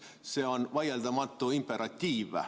See on vaieldamatu imperatiiv.